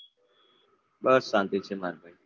બસ શાંતિ છે માર ભાઈ